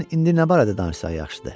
Sən bilən indi nə barədə danışsaq yaxşıdır?